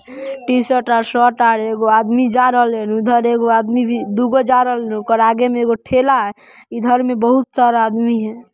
T-shirt आर shirt आर एगो आदमी जा रहले उधर एगो आदमी भी दुगो जा रहल ओकर आगे में एगो ठेला है इधर में बहुत सारा आदमी है।